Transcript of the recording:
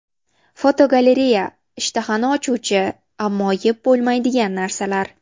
Fotogalereya: Ishtahani ochuvchi, ammo yeb bo‘lmaydigan narsalar.